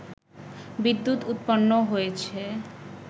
বিদ্যুৎ উৎপন্ন হয়েছে